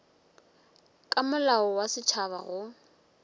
ka molao wa setšhaba go